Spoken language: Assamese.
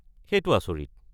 সেইটো আচৰিত!